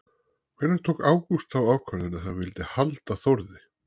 Hvenær tók Ágúst þá ákvörðun að hann vildi halda Þórði?